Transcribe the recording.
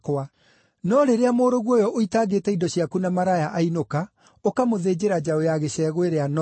No rĩrĩa mũrũguo ũyũ ũitangĩte indo ciaku na maraya ainũka, ũkamũthĩnjĩra njaũ ya gĩcegũ ĩrĩa noru!’